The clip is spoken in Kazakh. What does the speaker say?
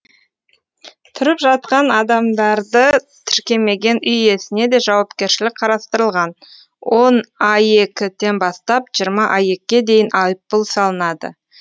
тұрып жатқан адамдарды тіркемеген үй иесіне де жауапкершілік қарастырылған он аек тен бастап жиырма аек ке дейін айыппұл салынады